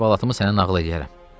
Sonra əhvalatımı sənə nağıl eləyərəm.